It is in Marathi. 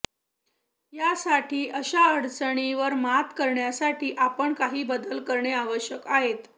यासाठी अशा अडचणी वर मात करण्यासाठी आपण काही बदल करणे आवश्यक आहेत